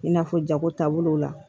I n'a fɔ jago taabolow la